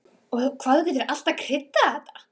Og hvað þú getur alltaf kryddað þetta!